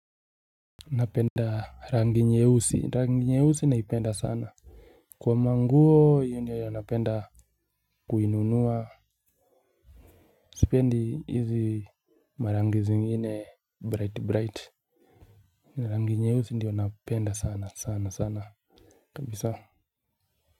Napenda rangi nyeusi rangi nyeusi naipenda sana. Kwa manguo hiyo ndiyo yenye napenda kuinunua sipendi hizi marangi zingine bright bright. Rangi nyeusi ndiyo napenda sana sana sana kabisa.